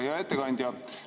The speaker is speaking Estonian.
Hea ettekandja!